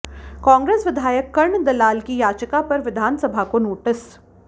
कांग्रेस विधायक कर्ण दलाल की याचिका पर विधानसभा को नोटिस